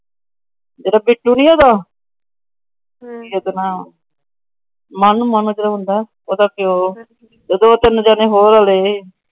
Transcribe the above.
ਜਿਹੜਾ ਬਿੱਟੂ ਨਹੀਂ ਹੇਗਾ। ਮੰਨੂ ਮੰਨੂ ਜਿਹੜਾ ਹੁੰਦਾ। ਉਹਦਾ ਪਿਓ। ਤਿੰਨ ਜਣੇ ਹੋਰ ਅੜੇ ਰਹੇ। ਮੰਨੂ ਮੰਨੂ ਜਿਹੜਾ ਹੁੰਦਾ। ਉਹਦਾ ਪਿਓ। ਤਿੰਨ ਜਣੇ ਹੋਰ ਅੜੇ ਰਹੇ।